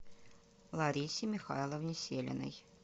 ларисе михайловне селиной